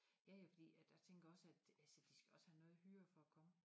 Ja ja fordi at jeg tænker også at altså de skal også have noget hyre for at komme